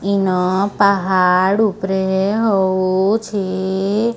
ଇନ ପାହାଡ଼ ଉପରେ ହୋଉଚି --